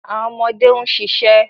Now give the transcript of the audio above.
Awọn ọmọde n ṣiṣẹ